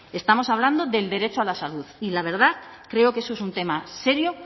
estamos hablando del derecho a la salud y la verdad creo que eso es un tema serio